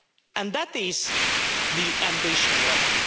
and that is the ambition level.